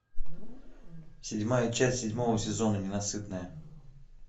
седьмая часть седьмого сезона ненасытная